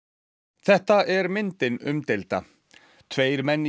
þetta er myndin umdeilda tveir menn í